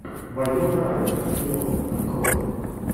вайнона райдер кино открой